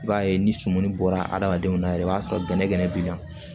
I b'a ye ni suman bɔra hadamadenw na yɛrɛ i b'a sɔrɔ gɛnɛgɛnɛ b'i la